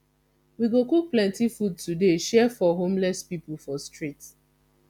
we go cook plenty food today share for homeless pipu for street